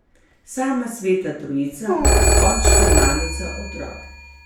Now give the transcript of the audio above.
Sama sveta trojica, očka, mamica, otrok.